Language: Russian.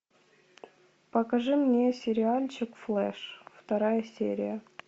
покажи мне сериальчик флеш вторая серия